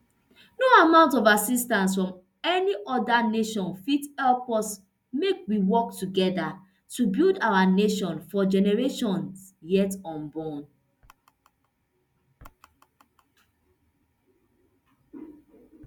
no amount of assistance from any oda nation fit help us make we work togeda to build our nation for generations yet unborn